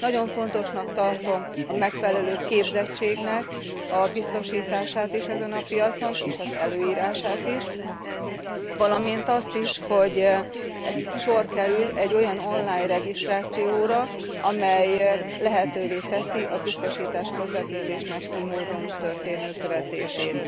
Nagyon fontosnak tartom a megfelelő képzettségnek a biztosítását is ezen a piacon és az előírását is, valamint azt is, hogy sor kerül egy olyan online regisztrációra, amely lehetővé teszi a biztosításközvetítésnek ily módon történő követését.